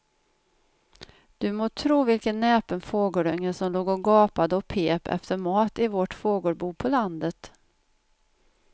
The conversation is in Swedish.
Du må tro vilken näpen fågelunge som låg och gapade och pep efter mat i vårt fågelbo på landet.